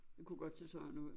Det kunne godt se sådan ud